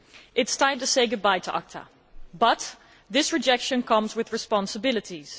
It is time to say goodbye to ACTA but this rejection comes with responsibilities.